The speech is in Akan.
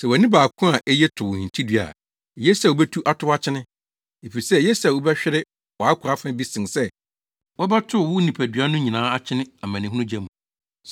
Sɛ wʼani baako a eye to wo hintidua a, eye sɛ wubetu atow akyene. Efisɛ eye sɛ wobɛhwere wʼakwaa fa bi sen sɛ wɔbɛtow wo nipadua no nyinaa akyene amanehunu gya mu.